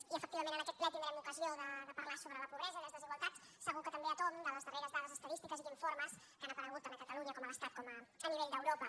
i efectivament en aquest ple tindrem ocasió de parlar sobre la pobresa i les desigualtats segur que també a tomb de les darreres dades estadístiques i d’informes que han aparegut tant a catalunya com a l’estat com a nivell d’europa